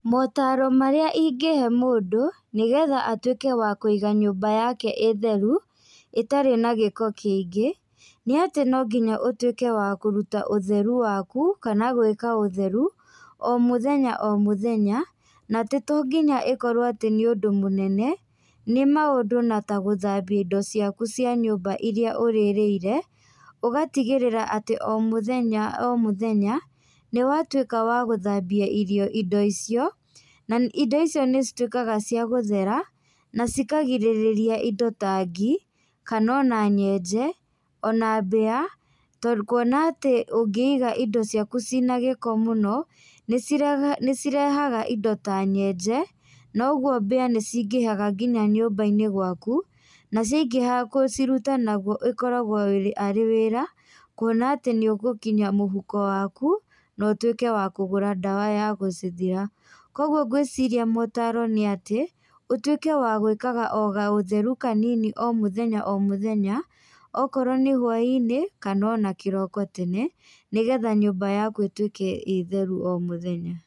Motaro marĩa ingĩhe mũndũ, nĩgetha atuĩke wa kũiga nyũmba yake ĩ theru, ĩtarĩ na gĩko kĩingĩ, nĩ atĩ nongĩnya ũtuĩke wa kũruta ũtheru waku, kana gwĩka ũtheru, o mũthenya o mũthenya, na atĩ to nginya ĩkorwo atĩ nĩũndũ mũnene, nĩ maũndũ na ta gũthambia indo ciaku cia nyũmba iria ũrĩrĩire, ũgatigĩrĩra atĩ o mũthenya o mũthenya, nĩwatuĩka wa gũthambia irio indo icio, na indo icio nĩcituĩkaga cia gũthera nacikagirĩrĩa indo ta ngi, kana ona nyenje, ona mbĩa, tondũ kuona atĩ ũngĩiga indo ciaku cina gĩko mũno, nĩci nĩcirehaga indo ta nyenje, na ũguo mbĩa nĩcingĩhaga nginya nyũmbainĩ gwaku, na ciaingĩha gũciruta naguo ĩkoragwo arĩ arĩ wĩra kuona atĩ nĩũgũkinya mũhuko waku, na ũtuĩke wa kũgũra ndawa ya gũcithira. Koguo ngwĩciria atĩ motaro nĩatĩ, ũtuĩke wa gwĩkaga o gaũtheru kanini o mũthenya o mũthenya, okorwo nĩ hwainĩ, kana ona kĩroko tene, nĩgetha nyũmba yaku ĩtuĩke ĩ theru o mũthenya.